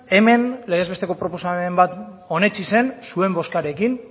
hemen legez besteko proposamen bat onetsi zen zuen bozkarekin